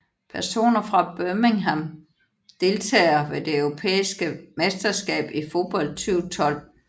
Personer fra Birmingham Deltagere ved det europæiske mesterskab i fodbold 2012